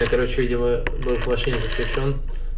я короче видимо был к машине подключён